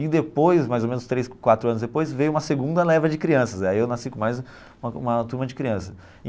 E depois, mais ou menos três, quatro anos depois, veio uma segunda leva de crianças, aí eu nasci com mais uma uma turma de crianças.